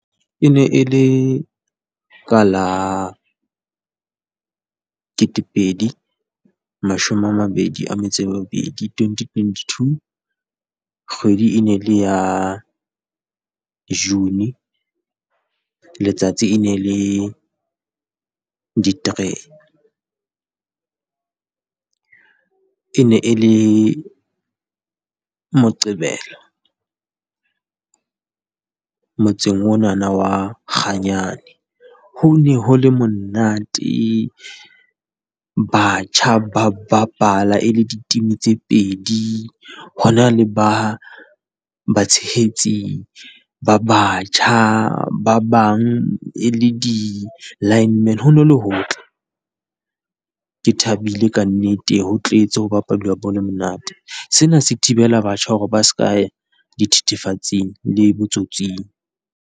E ne e le ka la ketepedi mashome a mabedi a metso e mebedi, twenty twenty two, kgwedi e ne le ya June, letsatsi e ne le di three. E ne e le Moqebelo motseng ona wa Kganyane. Ho ne ho le monate. Batjha ba ba bapala e le di-team tse pedi. Ho na le batshehetsi ba batjha ba bang e le di-lineman, ho ne ho le hotle. Ke thabile ka nnete ho tletse ho bapalwa bolo e monate. Sena se thibela batjha hore ba seka ya dithethefatsing le botsotsing.